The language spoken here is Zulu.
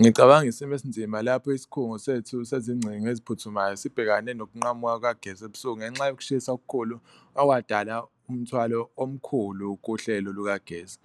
Ngicabanga isimo esinzima lapho isikhungo sethu sezingcingo eziphuthumayo sibhekane nokunqamuka kukagesi ebusuku ngenxa yokushisa okukhulu okwadala umthwalo omkhulu kuhlelo lukagesi.